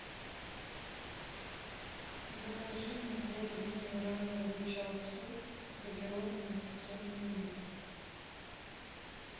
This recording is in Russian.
закажи мне воду минеральную рычал су газированную пятьсот миллилитров